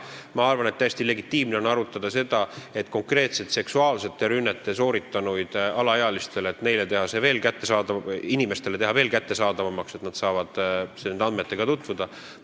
Ma arvan, et täiesti legitiimne on arutada seda, et konkreetselt alaealiste suhtes seksuaalsete rünnete sooritanute nimed teha inimestele veel kättesaadavamaks, nii et nad saavad nende andmetega tutvuda.